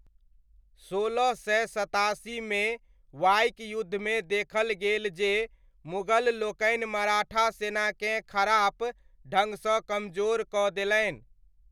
सोलह सय सतासीमे वाइक युद्धमे देखल गेल जे मुगललोकनि मराठा सेनाकेँ खराप ढङ्ग सँ कमजोर कऽ देलनि।